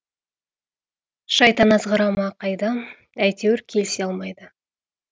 шайтан азғыра ма қайдам әйтеуір келісе алмайды